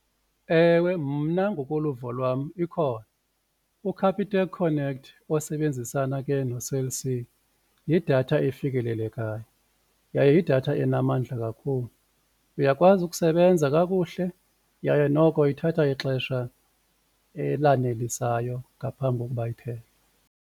Ewe, mna ngokoluvo lwam ikhona uCapitec connect osebenzisana ke noCell C yidatha efikelelekayo, yaye yidatha enamandla kakhulu uyakwazi ukusebenza kakuhle yaye noko ithatha ixesha elanelisayo ngaphambi kokuba iphele.